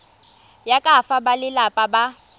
ya ka fa balelapa ba